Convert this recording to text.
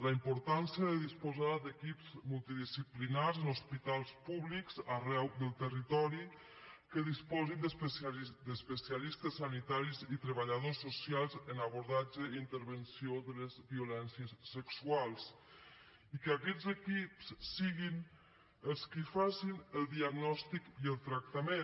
la importància de disposar d’equips multidisciplinaris en hospitals públics arreu del territori que disposin d’especialistes sanitaris i treballadors socials en abordatge i intervenció de les violències sexuals i que aquests equips siguin els qui facin el diagnòstic i el tractament